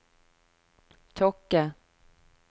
Tokke